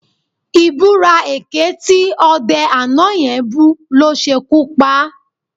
Ìbúra èké tí ọdẹ àná yẹn bú ló ṣekú pa á